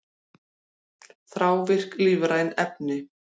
Þrávirk lífræn efni